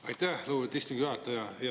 Aitäh, lugupeetud istungi juhataja!